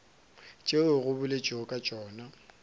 tšeo go boletšwego ka tšona